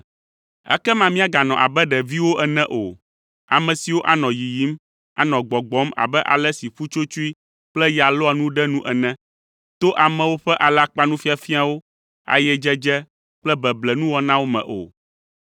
Ekema míaganɔ abe ɖeviwo ene o, ame siwo anɔ yiyim, anɔ gbɔgbɔm abe ale si ƒutsotsoe kple ya lɔa nu ɖe nu ene, to amewo ƒe alakpanufiafiawo, ayedzedze kple beble nuwɔnawo me o,